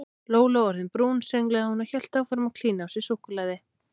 Lóló orðin brún sönglaði hún og hélt áfram að klína á sig súkkulaði.